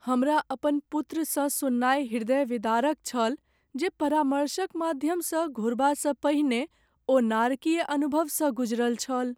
हमरा अपन पुत्रसँ सुननाइ हृदयविदारक छल जे परामर्शक माध्यमसँ घुरबासँ पहिने ओ नारकीय अनुभवसँ गुजरल छल।